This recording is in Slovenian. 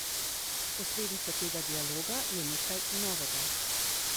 Posledica tega dialoga je nekaj novega.